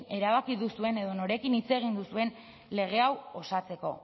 erabaki duzuen edo norekin hitz egin duzuen lege hau osatzeko